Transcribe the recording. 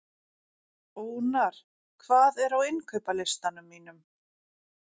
Ónar, hvað er á innkaupalistanum mínum?